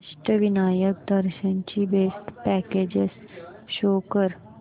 अष्टविनायक दर्शन ची best packages show कर